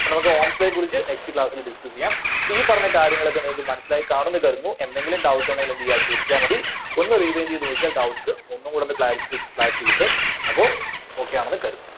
അപ്പോ നമുക്ക് Ohm's Law യെ കുറിച്ച് next class ല് discuss ചെയ്യാം. അപ്പോ ഈ പറഞ്ഞ കാര്യങ്ങളൊക്കെ നിങ്ങൾക്ക് മനസ്സിലായി കാണൂന്ന് കരുതുന്നു. എന്തെങ്കിലും doubt ഉണ്ടെങ്കില് എന്ത് ചെയ്‌ക? ചോദിച്ചാൽ മതി ഒന്ന് rewind ചെയ്ത് നോക്കിയാൽ doubts ഒന്നും കൂടൊന്ന് clarif~clarity കിട്ടും. അപ്പോ okay ആണെന്ന് കരുതുന്നു.